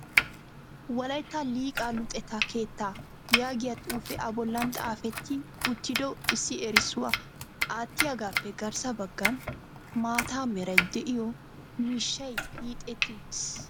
'Wolaytta Liqaa Luxetta keettaa' yaagiyaa xuufe a bollan xaafetti uttido issi erissuwaa aatiyaagappe garssa baggan maata meray de'iyo miishshay hiixetti uttiis.